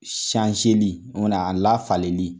li o kuma na a lafaleli